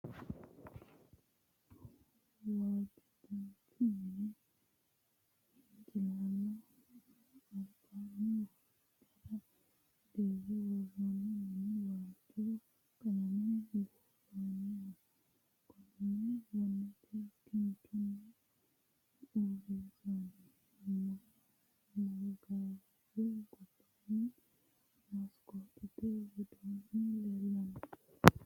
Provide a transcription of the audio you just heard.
Waajjo dancha mine hincilaallaamu albaanni wonbarra dirre worroonni minu waajjo qalame buurrooniho. Gonne gonnete ki chunni uurrinsoonni. Maggaarraju gobbaanni maskootete widoonni leellanno.